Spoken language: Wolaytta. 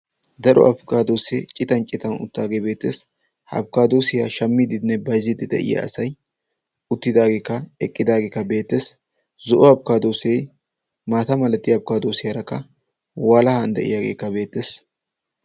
daro afikaadoosee citan citan uttaagee beettees ha afkkaadoosiyaa shammiidinne bayzziddi de'iya asai uttidaageekka eqqidaageekka beettees zo'o afkkaadoosee maata malattiya abikaadoosiyaarakka walahan de'iyaageekka beettees